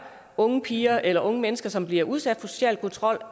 unge piger eller andre unge mennesker som bliver udsat for social kontrol